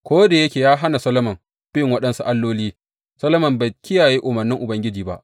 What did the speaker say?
Ko da yake ya hana Solomon bin waɗansu alloli, Solomon bai kiyaye umarnin Ubangiji ba.